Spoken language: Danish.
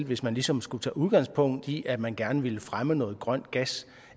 hvis man ligesom skulle tage udgangspunkt i at man gerne vil fremme noget grøn gas